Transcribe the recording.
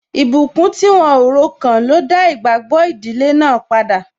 Ìbùkún tí wọ́n o ro kàn ló dá igbagbo ìdílé náà padà.